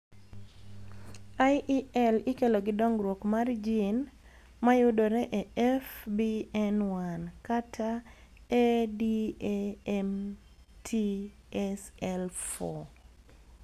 IEL ikelo gi dongruok mar gin mayudore e FBN1 kata ADAMTSL4